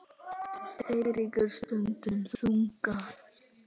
Eiríkur stundi þungan.